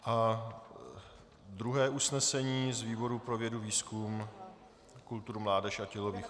A druhé usnesení z výboru pro vědu, výzkum, kulturu, mládež a tělovýchovu?